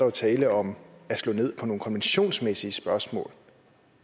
er tale om at slå ned på nogle konventionsmæssige spørgsmål